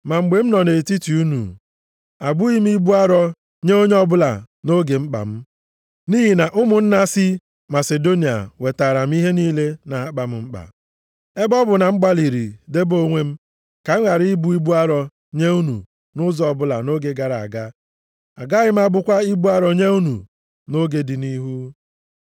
Ma mgbe m nọ nʼetiti unu abụghị m ibu arọ nye onye ọbụla nʼoge mkpa m. Nʼihi na ụmụnna si Masidonia wetaara m ihe niile na-akpa m mkpa. Ebe ọ bụ na m gbalịrị debe onwe m, ka m ghara ịbụ ibu arọ nye unu nʼụzọ ọbụla nʼoge gara aga, agaghị m abụkwa ibu arọ nye unu nʼoge dị nʼihu.